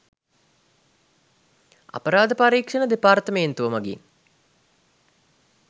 අපරාධ පරික්‍ෂණ දෙපාර්තමේන්තුව මගින්